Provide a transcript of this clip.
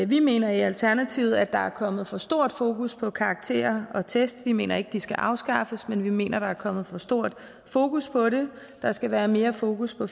vi mener i alternativet at der er kommet for stort fokus på karakterer og test vi mener ikke de skal afskaffes men vi mener der er kommet for stort fokus på det der skal være mere fokus på